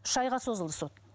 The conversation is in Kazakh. үш айға созылды сот